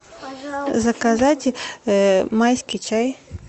заказать майский чай